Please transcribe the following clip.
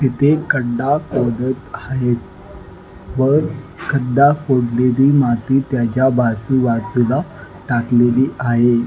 इथे खड्डा खोदत आहे व खड्डा खोदलेली माती त्याच्या आजूबाजूला टाकलेली आहे.